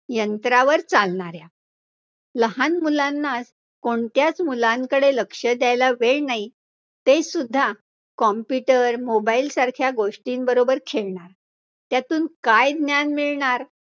यंत्रावर चालणाऱ्या लहान मुलांना, कोणत्याच मुलांकडे लक्ष द्यायला वेळ नाही, ते सुद्धा computer, mobile सारख्या गोष्टींबरोबर खेळणार, त्यातून काय ज्ञान मिळणाऱ्या